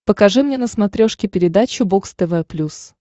покажи мне на смотрешке передачу бокс тв плюс